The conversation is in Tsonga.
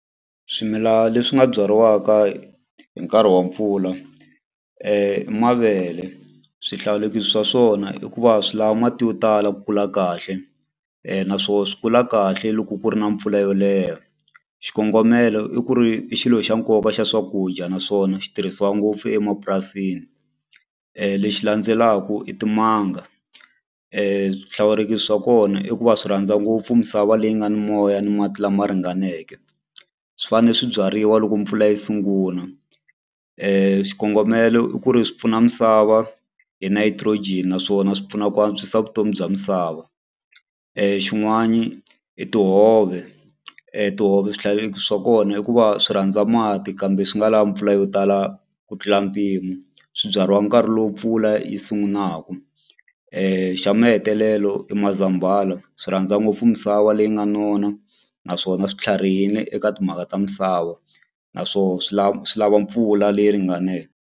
Swimila leswi nga byariwaka hi nkarhi wa mpfula i mavele swihlawulekisi swa swona i ku va swi lava mati yo tala ku kula kahle naswona swi kula kahle loko ku ri na mpfula yo leha xikongomelo i ku ri i xilo xa nkoka xa swakudya naswona xi tirhisiwa ngopfu emapurasini lexi landzelaka i timanga swihlawulekisi swa kona i ku va swi rhandza ngopfu misava leyi nga ni moya ni mati lama ringaneke swi fane swi byariwa loko mpfula yi sunguna xikongomelo i ku ri swi pfuna misava hi nitrogen naswona swi pfuna ku antswisa vutomi bya misava xin'wani i tihove tihove swihlawulekisi swa kona i ku va swi rhandza mati kambe swi nga lavi mpfula yo tala ku tlula mpimo swi byariwaka nkarhi lowu mpfula yi sungunaku xa mahetelelo i mazambala swi rhandza ngopfu misava leyi nga nona naswona swi tlharihile eka timhaka ta misava na swo swi lava mpfula leyi ringaneke.